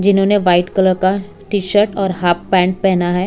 जिन्होंने white colour का T shirt और हाफ पैंट पहना है।